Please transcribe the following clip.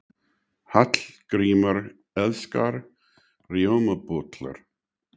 Hallgrímur elskar rjómabollur.